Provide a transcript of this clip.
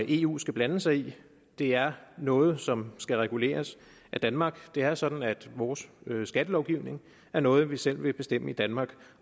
eu skal blande sig i det er noget som skal reguleres af danmark det er sådan at vores skattelovgivning er noget vi selv vil bestemme i danmark